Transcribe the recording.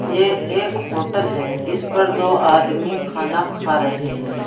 ये एक होटल है इस पर दो आदमी खाना खा रहे हैं।